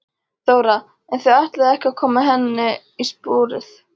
Þóra: En þið ætlið ekki að koma henni á sporið?